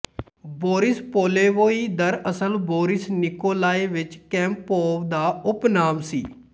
Boris Polevoy ਦਰਅਸਲ Boris Nikolayevich Kampov ਦਾ ਉਪਨਾਮ ਸੀ